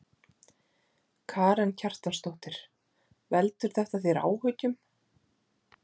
Karen Kjartansdóttir: Veldur þetta þér áhyggjum?